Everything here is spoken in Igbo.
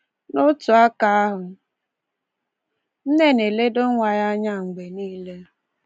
N’otu aka ahụ, nne na-eledo nwa ya anya mgbe nile.